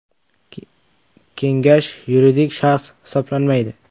Kengash yuridik shaxs hisoblanmaydi.